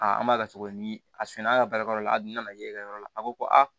an b'a la cogo di a suna an ka baarakɛyɔrɔ la a dun nana ye i ka yɔrɔ la a ko ko a